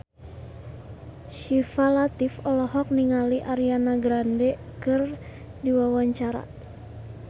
Syifa Latief olohok ningali Ariana Grande keur diwawancara